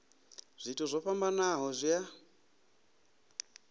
zwithu zwo fhambanaho zwi a